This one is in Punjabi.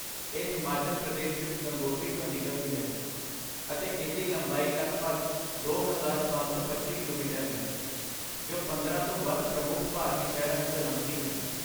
ਇਹ ਹਿਮਾਚੱਲ ਪ੍ਰਦੇਸ਼ ਵਿੱਚ ਗੰਗੋਤਰੀ ਤੋਂ ਨਿਕਲਦੀ ਹੈ, ਅਤੇ ਇਸਦੀ ਲੰਬਾਈ ਲਗਭਗ ਦੋ ਹਜ਼ਾਰ ਪੰਜ ਸੌ ਪੱਚੀ ਕਿਲੋਮੀਟਰ ਹੈ, ਜੋ ਪੰਦਰਾਂ ਤੋਂ ਵੱਧ ਪ੍ਰਮੁੱਖ ਭਾਰਤੀ ਸ਼ਹਿਰਾਂ ਵਿੱਚੋਂ ਲੰਘਦੀ ਹੈ